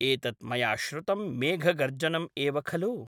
एतत् मया श्रुतम् मेघगर्जनम् एव खलु?